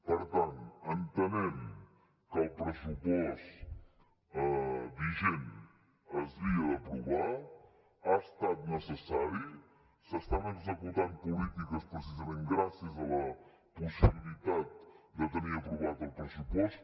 per tant entenem que el pressupost vigent s’havia d’aprovar ha estat necessari s’estan executant polítiques precisament gràcies a la possibilitat de tenir aprovat el pressupost